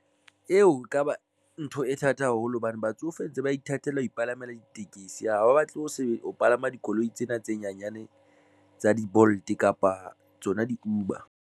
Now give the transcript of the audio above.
Eo ekaba ntho e thata haholo hobane batsofe ntse ba ithatela ho ipalamele ditekesi, ha ba batle ho se ho palama dikoloi tsena tse nyanyane tsa di-Bolt kapa tsona di-Uber.